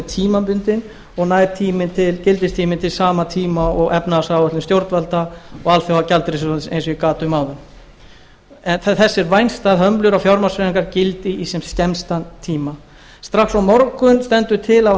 tímabundin og nær gildistíminn til sama tíma og efnahagsáætlun stjórnvalda og alþjóðagjaldeyrissjóðsins eins og ég gat um áðan en þess er vænst að hömlur á fjármagnshreyfingar gildi í sem skemmstan tíma strax á morgun stendur til af